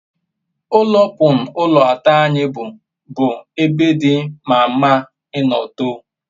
ulo pun ulo ato anyi bu bu ebe di mama ino too